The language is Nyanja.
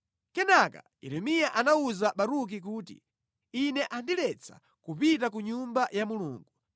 Kenaka Yeremiya anawuza Baruki kuti, “Ine andiletsa kupita ku Nyumba ya Mulungu.